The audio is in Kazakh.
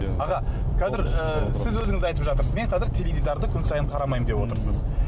аға қазір і сіз өзіңіз айтып жатырсыз мен қазір теледидарды күн сайын қарамаймын деп отырсыз